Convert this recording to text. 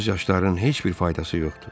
Göz yaşlarının heç bir faydası yoxdur.